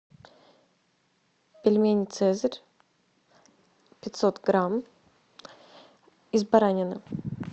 пельмени цезарь пятьсот грамм из баранины